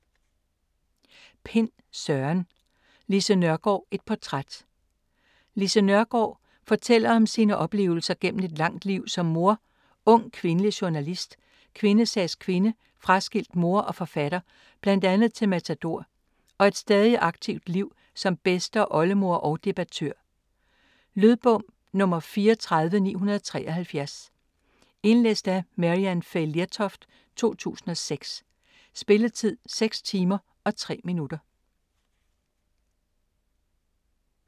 Pind, Søren: Lise Nørgaard: et portræt Lise Nørgaard (f. 1917) fortæller om sine oplevelser gennem et langt liv som mor, ung kvindelig journalist, kvindesagskvinde, fraskilt mor og forfatter, bl.a. til Matador, og et stadig aktivt liv som bedste- og oldemor og debattør. Lydbog 34973 Indlæst af Maryann Fay Lertoft, 2006. Spilletid: 6 timer, 3 minutter.